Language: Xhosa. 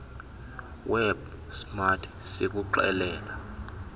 web smart sikuxelela